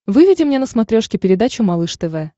выведи мне на смотрешке передачу малыш тв